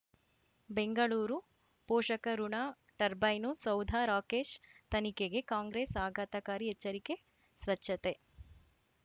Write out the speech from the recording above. ಬೆಂಗಳೂರು ಪೋಷಕಋಣ ಟರ್ಬೈನು ಸೌಧ ರಾಕೇಶ್ ತನಿಖೆಗೆ ಕಾಂಗ್ರೆಸ್ ಆಘಾತಕಾರಿ ಎಚ್ಚರಿಕೆ ಸ್ವಚ್ಛತೆ